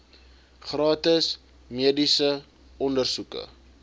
gratis mediese ondersoeke